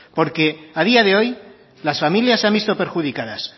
porque a día de hoy las familias han visto perjudicadas